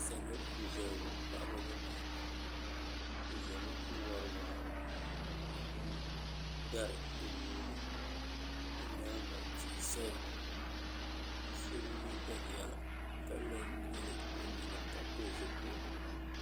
salo n-ʒeya ŋɔ paɣiba ni dabba bɛ ʒemi n-wari waa ka gbubi dari bɛ nuu ni bɛ nyaaŋa tihi saya ka so bi ye daliya ka la n-nyili o nyina ka pili zipiligu